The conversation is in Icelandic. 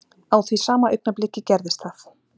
Á því sama augnabliki gerðist það.